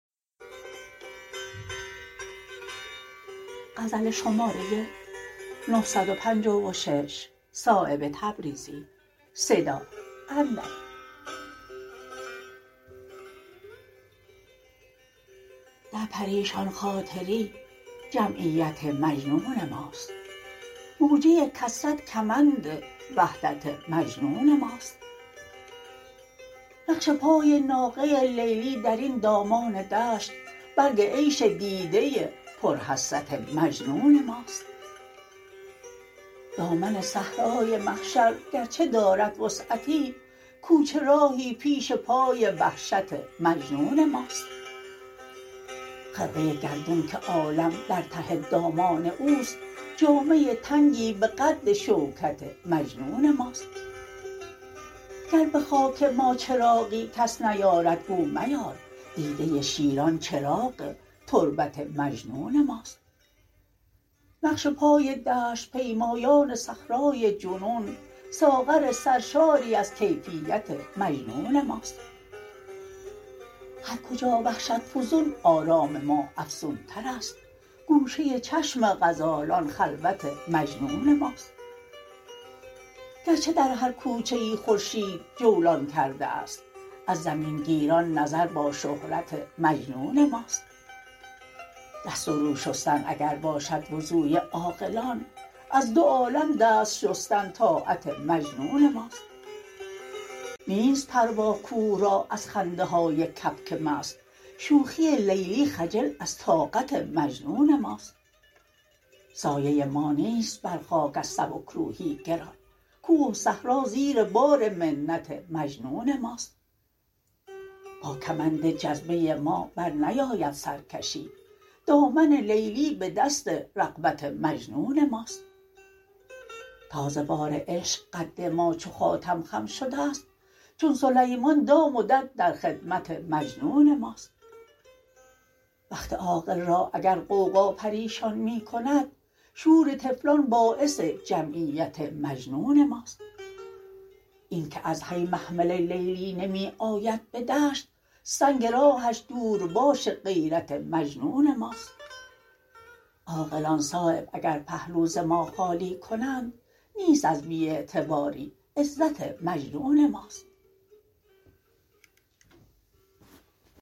در پریشان خاطری جمعیت مجنون ماست موجه کثرت کمند وحدت مجنون ماست نقش پای ناقه لیلی درین دامان دشت برگ عیش دیده پر حسرت مجنون ماست دامن صحرای محشر گرچه دارد وسعتی کوچه راهی پیش پای وحشت مجنون ماست خرقه گردون که عالم در ته دامان اوست جامه تنگی به قد شوکت مجنون ماست گر به خاک ما چراغی کس نیارد گو میار دیده شیران چراغ تربت مجنون ماست نقش پای دشت پیمایان صحرای جنون ساغر سرشاری از کیفیت مجنون ماست هر کجا وحشت فزون آرام ما افزون تر است گوشه چشم غزالان خلوت مجنون ماست گرچه در هر کوچه ای خورشید جولان کرده است از زمین گیران نظر با شهرت مجنون ماست دست و رو شستن اگر باشد وضوی عاقلان از دو عالم دست شستن طاعت مجنون ماست نیست پروا کوه را از خنده های کبک مست شوخی لیلی خجل از طاقت مجنون ماست سایه ما نیست بر خاک از سبکروحی گران کوه و صحرا زیر بار منت مجنون ماست با کمند جذبه ما برنیاید سرکشی دامن لیلی به دست رغبت مجنون ماست تا ز بار عشق قد ما چو خاتم خم شده است چون سلیمان دام و دد در خدمت مجنون ماست وقت عاقل را اگر غوغا پریشان می کند شور طفلان باعث جمعیت مجنون ماست این که از حی محمل لیلی نمی آید به دشت سنگ راهش دور باش غیرت مجنون ماست عاقلان صایب اگر پهلو ز ما خالی کنند نیست از بی اعتباری عزت مجنون ماست